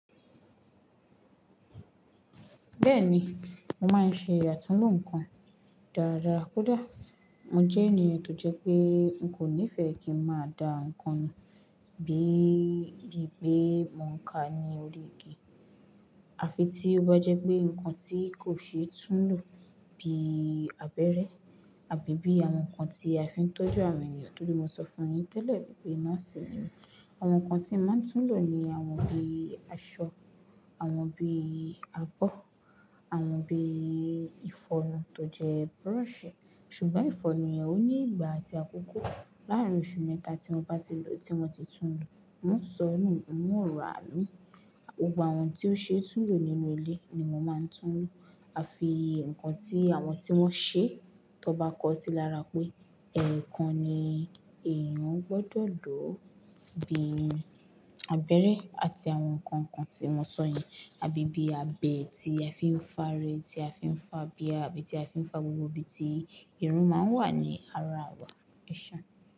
Bẹ́ẹ̀ni, mo máa ń ṣe atúnlo nǹkan dáadáa kódà. Mo jẹ́ ènìyàn tó jẹ́ pé n kò nífẹ̀ẹ́ kí n máa da nǹkan nù bí i pé mo ń ka ní orí igi. Àfi tí ó bá jẹ́ pé nǹkan tí kò ṣe é tún lò bí abẹ́rẹ́ àbí bí àwọn nǹkan tí a fi ń tọ́jú àwọn ènìyàn, tódé mo sọ fún ẹ tẹ́lẹ̀ wípé nooṣì ni mi Àwọn nǹkan tí mo máa ń tún lò ni àwọn bí i aṣọ, àwọn bí i abọ́, àwọn bí i ìfọnu tó jẹ́ brush. Ṣùgbọ́n ìfọnu yẹn ó ní ìgbà àti àkókò. Láàárín oṣù mẹ́ta tí mo bá ti lò, tí mo ti tún lò, mo sọ nu, mo ò rà imì. Gbogbo àwọn tí ó ṣe é tún lò nínú ilé ni mo máa ń tún lò. Àfi nǹkan tí àwọn tí wọ́n ṣe, tó bá kọ sí i lára pé, ẹ̀ẹ̀kan ni èèyàn gbọdọ̀ lò bí i abẹ́rẹ́ àti àwọn nǹkan kan tí mo sọ yẹn, àbí bí abẹ ti a fi ń fá irun, tí a fi ń fá abiyà, àbí tí a fi ń fá gbogbo ibi tí irun máa ń wà ní ara wa. Eseuń?